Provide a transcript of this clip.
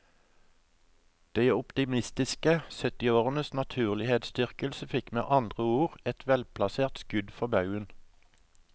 De optimistiske syttiårenes naturlighetsdyrkelse fikk med andre ord et velplassert skudd for baugen.